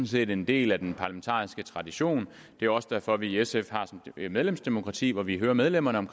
set en del af den parlamentariske tradition det er også derfor at vi i sf har et medlemsdemokrati hvor vi hører medlemmerne om